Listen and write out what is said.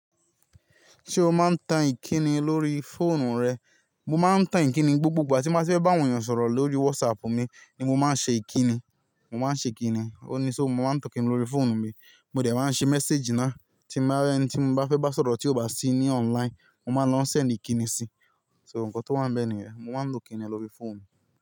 Ṣé o máa ń tan ìkíni lórí fóònù rẹ? Mo máa ń tan ìkíni, gbogbo ìgbà tí mo bá fẹ́ bá ènìyàn sọ̀rọ̀ lórí WhatsApp mi ni mo máa ń ṣe ìkíni, mo máa ń ṣe ìkíni. Ó ní só mo máa ń tan kíni lórí fóònù mi, mo dẹ̀ máa ń ṣe méséjì náà tí mo bá rí ẹni tí mo bá fẹ́ bá sọ̀rọ̀ tí ó bá sí ní online, mo máa ń lọ ṣẹ̀lẹ̀ ìkíni si. So, ǹkan tó wá ń bẹ ni yẹ̀n, mo máa ń tan kíni lórí fóònù.